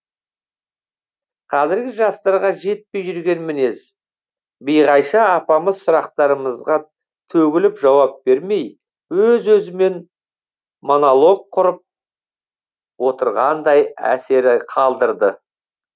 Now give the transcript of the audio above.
қазіргі жастарға жетпей жүрген мінез биғайша апамыз сұрақтарымызға төгіліп жауап бермей өз өзімен монолог құрып отырғандай әсер қалдырды